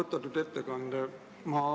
Austatud ettekandja!